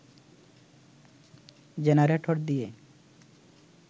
generator দিয়ে